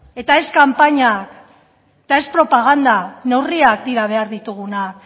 eta ez kanpainak eta ez propaganda neurriak dira behar ditugunak